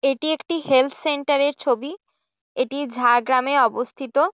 এটি একটি হেলথ সেন্টারের এর ছবি এটি ঝাড়গ্রামে অবস্থিত।